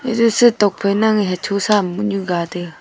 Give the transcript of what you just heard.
ese si tokk phai nang hocho sa bohnu ga taiga.